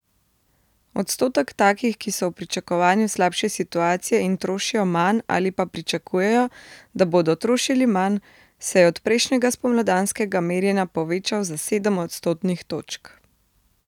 Odstotek takih, ki so v pričakovanju slabše situacije in trošijo manj ali pa pričakujejo, da bodo trošili manj, se je od prejšnjega spomladanskega merjenja povečal za sedem odstotnih točk.